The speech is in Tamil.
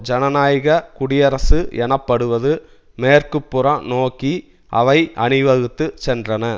ஜனநாயக குடியரசு எனப்படுவது மேற்குப்புறம் நோக்கி அவை அணிவகுத்து சென்றன